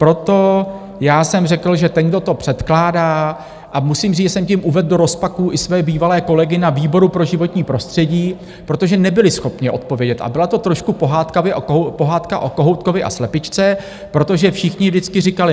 Proto já jsem řekl, že ten, kdo to předkládá - a musím říct, že jsem tím uvedl do rozpaků i své bývalé kolegy na výboru pro životní prostředí, protože nebyli schopni odpovědět, a byla to trošku pohádka o kohoutkovi a slepičce, protože všichni vždycky říkali.